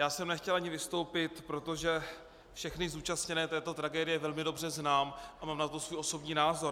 Já jsem nechtěl ani vystoupit, protože všechny zúčastněné této tragédie velmi dobře znám a mám na to svůj osobní názor.